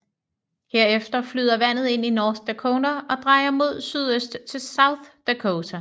Herefter flyder vandet ind i North Dakota og drejer mod sydøst til South Dakota